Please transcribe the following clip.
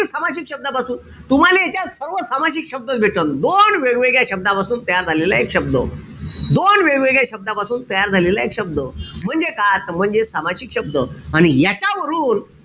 सामासिक शब्दापासून. तुम्हाले यांच्यात सर्व सामासिक शब्द भेटन. दोन वेगवेगळ्या शब्दापासून तयार झालेला एक शब्द. दोन वेगवेगळ्या शब्दापासून तयार झालेला एक शब्द. म्हणजे काय त म्हणजे सामासिक शब्द. आणि याच्या वरून,